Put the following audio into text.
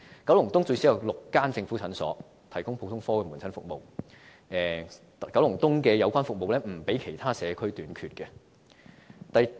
九龍東最少有6間政府診所提供普通科門診服務，故九龍東的有關服務並不比其他社區短缺。